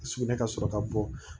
Sugunɛ ka sɔrɔ ka bɔ